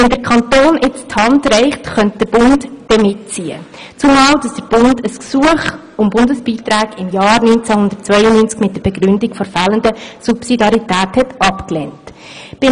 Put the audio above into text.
Wenn der Kanton jetzt die Hand reicht, könnte der Bund mitziehen, zumal er im Jahr 1992 ein Gesuch um Bundesbeiträge mit der Begründung der fehlenden Subsidiarität abgelehnt hatte.